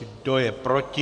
Kdo je proti?